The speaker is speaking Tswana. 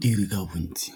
dire ka bontsi.